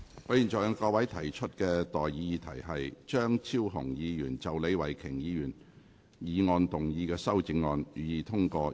我現在向各位提出的待議議題是：張超雄議員就李慧琼議員議案動議的修正案，予以通過。